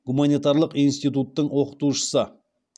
гуманитарлық институттың оқытушысы